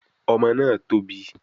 Ọmọ náà tóbi